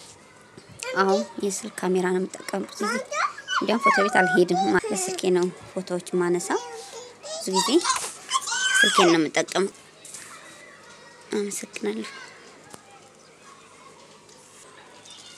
አዎ የስልክ ካሜራ ነው የምትጠቀመው። እንደውም ፎቶ ቤት አልሄድም ስልኬን ነው ፎቶዎች የማነሳው። ብዙ ጊዜ ስልኬን ነው የምጠቀመው። አመሰግናለሁ።